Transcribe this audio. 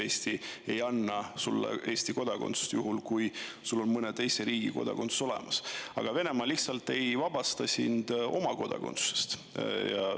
Eesti ei anna sulle Eesti kodakondsust, juhul kui sul on mõne teise riigi kodakondsus olemas, aga Venemaa lihtsalt ei vabasta sind oma kodakondsusest.